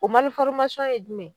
O ye jumɛn ye?